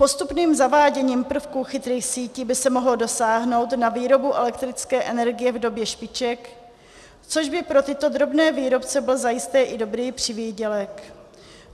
Postupným zaváděním prvků chytrých sítí by se mohlo dosáhnout na výrobu elektrické energie v době špiček, což by pro tyto drobné výrobce byl zajisté i dobrý přivýdělek.